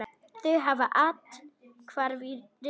Þau hafa athvarf í risinu.